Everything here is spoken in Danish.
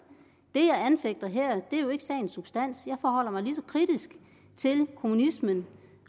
det jeg anfægter her er jo ikke sagens substans jeg forholder mig lige så kritisk til kommunismen